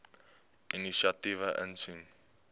inisiatiewe insien